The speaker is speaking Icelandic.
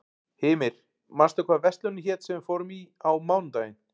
Hymir, manstu hvað verslunin hét sem við fórum í á mánudaginn?